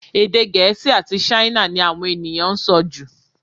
Èdè Gẹ̀ẹ́sì àti Ṣáínà ni àwọn ènìyàn ń sọ jù